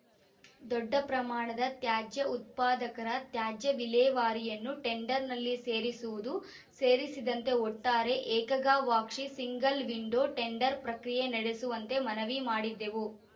ದೊಡ್ಡ ಪ್ರಮಾಣದ ತ್ಯಾಜ್ಯ ಉತ್ಪಾದಕರ ತ್ಯಾಜ್ಯ ವಿಲೇವಾರಿಯನ್ನೂ ಟೆಂಡರ್‌ನಲ್ಲಿ ಸೇರಿಸುವುದು ಸೇರಿದಂತೆ ಒಟ್ಟಾರೆ ಏಕಗವಾಕ್ಷಿ ಸಿಂಗಲ್‌ವಿಂಡೋ ಟೆಂಡರ್‌ ಪ್ರಕ್ರಿಯೆ ನಡೆಸುವಂತೆ ಮನವಿ ಮಾಡಿದ್ದೆವು